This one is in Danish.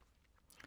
TV 2